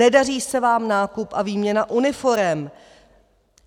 Nedaří se vám nákup a výměna uniforem.